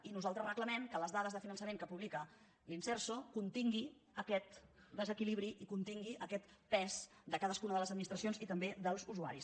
i nosaltres reclamem que les dades de finançament que publica l’inserso continguin aquest desequilibri i continguin aquest pes de cadascuna de les administracions i també dels usua ris